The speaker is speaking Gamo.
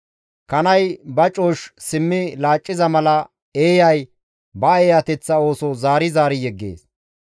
Kanay ba cooshshi simmi laacciza mala, eeyay ba eeyateththa ooso zaari zaari yeggees.